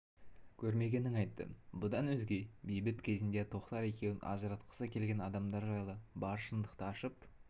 көрмегенін айтты бұдан өзге бейбіт кезінде тоқтар екеуін ажыратқысы келген адамдар жайлы бар шындықты ашып